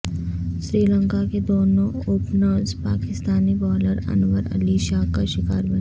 سری لنکا کے دونوں openers Pakistani bowler Anwar Ali کا شکار بنے